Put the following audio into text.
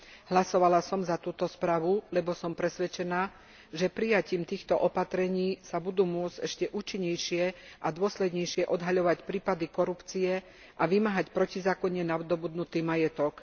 Hlasovala som za túto správu, lebo som presvedčená, že prijatím týchto opatrení sa budú môcť ešte účinnejšie a dôslednejšie odhaľovať prípady korupcie a vymáhať protizákonne nadobudnutý majetok.